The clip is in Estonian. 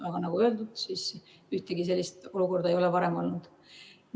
Aga nagu öeldud, ühtegi sellist olukorda ei ole varem olnud.